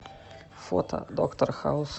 фото доктор хаус